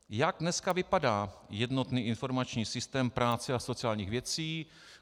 Jak dneska vypadá jednotný informační systém práce a sociálních věcí?